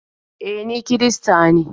E, ni kirista ne.